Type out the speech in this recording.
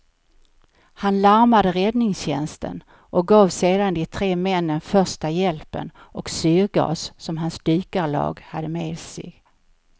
Han larmade räddningstjänsten och gav sedan de tre männen första hjälpen och syrgas som hans dykarlag hade med sig.